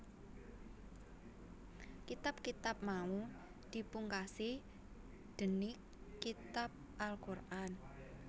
Kitab kitab mau dipungkasi dénig Kitab Al Qur an